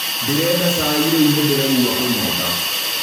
Ndĩreda caĩ rĩũ nĩ ndĩraigua kũnyota